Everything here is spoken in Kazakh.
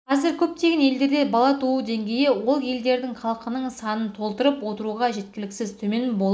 қазір көптеген елдерде бала туу деңгейі ол елдердің халқының санын толтырып отыруға жеткіліксіз төмен болып